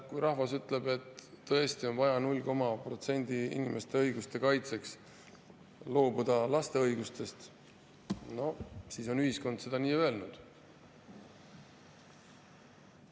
Kui rahvas ütleb, et tõesti on vaja null koma protsendi inimeste õiguste kaitseks loobuda laste õigustest, siis on ühiskond seda öelnud.